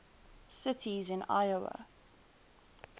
cities in iowa